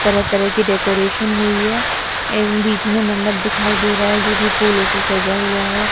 तरह तरह की डेकोरेशन हुई है एग बीच में मंडप दिखाई दे रहा है जो की फूलों से सजा हुआ है।